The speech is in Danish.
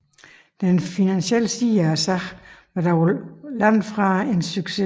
Den finansielle side af sagen var dog langt fra en succes